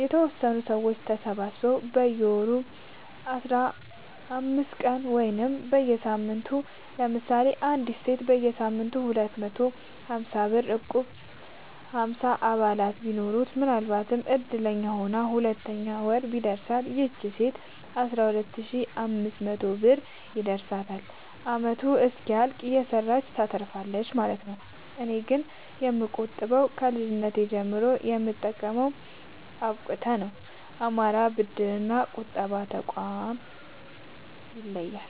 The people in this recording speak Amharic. የተወሰኑ ሰዎች ተሰባስበው በየወሩ በየአስራአምስት ቀኑ ወይም በየሳምንቱ ለምሳሌ አንዲት ሴት በየሳምንቱ ሁለት መቶ ሀምሳብር እቁብጥል ሀምሳ አባላት ቢኖሩት ምናልባትም እድለኛ ሆና በሁለተኛው ወር ቢደርሳት ይቺ ሴት አስራሁለት ሺ አምስት መቶ ብር ይደርሳታል አመቱ እስኪያልቅ እየሰራች ታተርፋለች ማለት ነው። እኔ ግን የምቆጥበው ከልጅነቴ ጀምሮ የምጠቀመው አብቁተ ነው። አማራ ብድር እና ቁጠባ ጠቋም ይለያል።